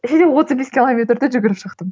отыз бес километрді жүгіріп шықтым